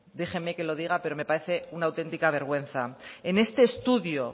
déjenme que lo diga pero me parece una auténtica vergüenza en este estudio